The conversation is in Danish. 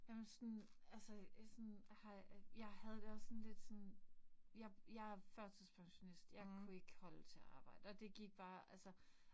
Jamen sådan altså sådan har jeg havde det også sådan lidt sådan jeg jeg førtidspensionist jeg kunne ikke holde til at arbejde og det gik bare altså